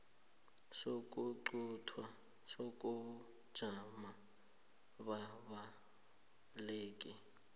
sokuquntwa kobujamo bababaleki